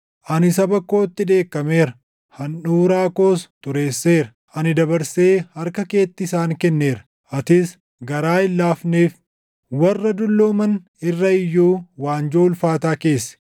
Ani saba kootti dheekkameera; handhuuraa koos xureesseera; ani dabarsee harka keetti isaan kenneera; atis garaa hin laafneef. Warra dullooman irra iyyuu waanjoo ulfaataa keesse.